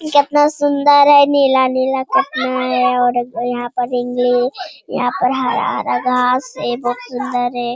कितना सुंदर है नीला-नीला और यहां पर यहाँ पर हरा-हरा घांस है। ए बोहोत सुंदर है।